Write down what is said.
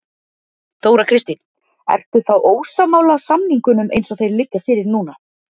Þóra Kristín: Ertu þá ósammála samningunum eins og þeir liggja fyrir núna?